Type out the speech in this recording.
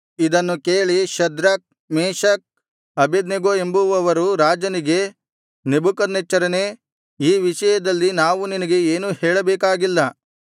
ಇದನ್ನು ಕೇಳಿ Shadrach Meshach Abednego ಎಂಬುವವರು ರಾಜನಿಗೆ ನೆಬೂಕದ್ನೆಚ್ಚರನೇ ಈ ವಿಷಯದಲ್ಲಿ ನಾವು ನಿನಗೆ ಏನೂ ಹೇಳಬೇಕಾಗಿಲ್ಲ